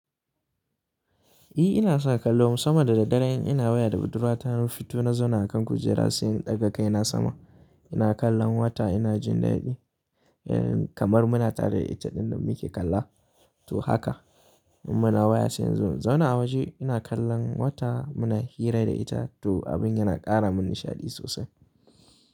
Eh ina sa kallo sama da dare in ina waya da budurwa ta hanyar fito na zaune a kan kujera, sai in ɗaga kai na sama. Ina kallon wata ina jin daɗi kamar muna tare da ita ɗin da muke kalla to haka. Muna waya sai in zauna a waje ina kallon wata muna hira da ita to abin yana ƙara min nishaɗi sosai.